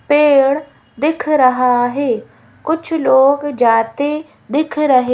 पेड़ दिख रहा है कुछ लोग जाते दिख रहे--